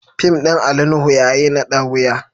Fim din Ali Nuhu ya yi nada wuya.